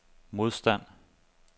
modstand